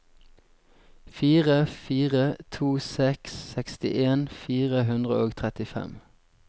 fire fire to seks sekstien fire hundre og trettifem